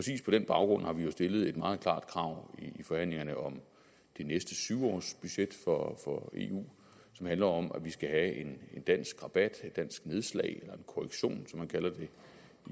den baggrund har vi jo stillet et meget klart krav i forhandlingerne om de næste syv års budget for eu som handler om at vi skal have en dansk rabat et dansk nedslag eller en korrektion som man kalder